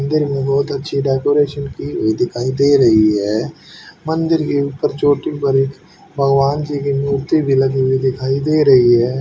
मंदिर में बहुत अच्छी डेकोरेशन की हुई दीखाई दे रही है मंदिर के ऊपर छोटी बड़ी भगवान जी की मूर्ति भी लगी हुई दिखाई दे रही है।